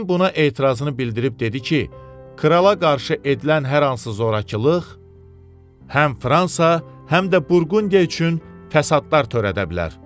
Dekomin buna etirazını bildirib dedi ki, krala qarşı edilən hər hansı zorakılıq həm Fransa, həm də Burqundiya üçün fəsadlar törədə bilər.